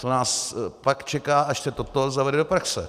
Co nás pak čeká, až se toto zavede do praxe.